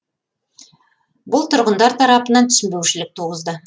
бұл тұрғындар тарапынан түсінбеушілік туғызды